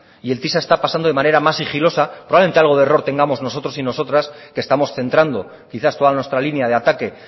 y el tisa está pasando de manera más sigilosa probablemente algo de error tengamos nosotros y nosotras que estamos centrando quizás toda nuestro línea de ataque